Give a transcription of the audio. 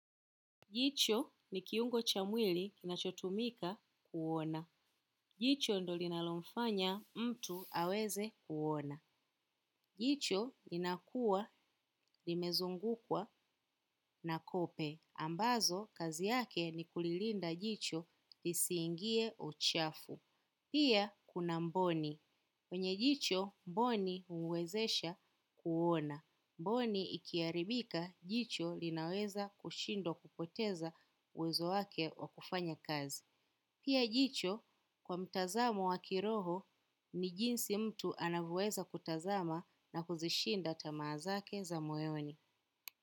Jicho ni kiungo cha mwili kinachotumika kuona. Jicho ndo linalomfanya mtu aweze kuona. Jicho linakuwa limezungukwa na kope. Ambazo, kazi yake ni kulilinda jicho lisiingie uchafu. Pia, kuna mboni. Kwenye jicho, mboni huwezesha kuona. Mboni ikiharibika jicho linaweza kushindwa kupoteza uwezo wake wa kufanya kazi. Pia jicho kwa mtazamo wa kiroho ni jinsi mtu anavyoweza kutazama na kuzishinda tamaa zake za moyoni.